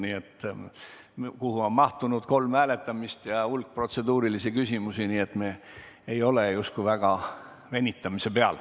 Sinna on mahtunud kolm hääletamist ja hulk protseduurilisi küsimusi, nii et me ei ole justkui väga venitanud.